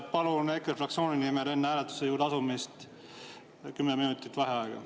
Palun EKRE fraktsiooni nimel enne hääletuse juurde asumist kümme minutit vaheaega.